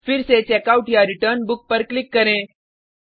फिर से checkoutरिटर्न बुक पर क्लिक करें